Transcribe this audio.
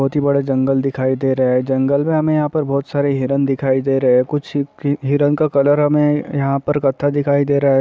बोहोत ही बड़े जंगल दिखाई दे रहे हैं। जंगल में हमे यहाॅं पर बोहोत सारे हिरण दिखाई दे रहे हैं। कुछ भी हिरण का कलर हमे यहाॅं पर कत्था दिखाई दे रहा है।